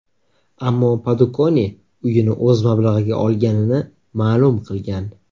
Ammo Padukone uyini o‘z mablag‘iga olganini ma’lum qilgan.